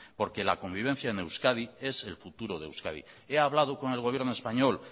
porque la convivencia en euskadi es el futuro de euskadi he hablado con el gobierno español